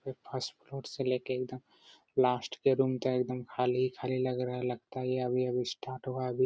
ये first floor से ले के एकदम लास्ट के रूम तक खाली-खाली लग रहा है। लगता है अभी-अभी स्टार्ट हुआ है अभी --